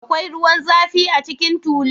Akwai ruwan zafi a cikin tulun?